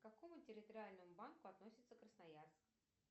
к какому территориальному банку относится красноярск